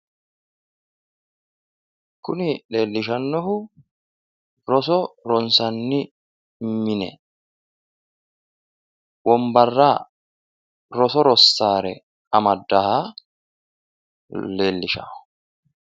Kuni leellishannohu roso ronssanni mine wonbarra roso rossaare amaddaaha leellishanno.